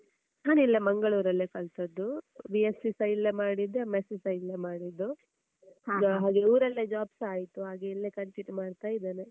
ನಾನ್ ಇಲ್ಲೇ ಮಂಗಳೂರಲ್ಲಿಯೇ ಕಲ್ತದ್ದು. B.Sc ಸ ಇಲ್ಲೇ ಮಾಡಿದ್ದೂ, M.Sc ಸ ಇಲ್ಲೇ ಮಾಡಿದ್ದು. ಹಾಗಾಗಿ ಊರಲ್ಲೇ job ಸ ಆಯ್ತು ಹಾಗಾಗಿ ಇಲ್ಲೇ continue ಮಾಡ್ತಾ ಇದ್ದೆನೆ.